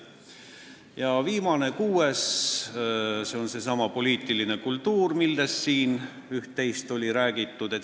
Ja viimane, kuues, on seesama poliitiline kultuur, millest siin sai juba üht-teist räägitud.